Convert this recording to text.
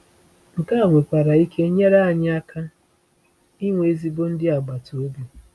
Nke a nwekwara ike nyere anyị aka inwe ezigbo ndị agbata obi.